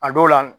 A dɔw la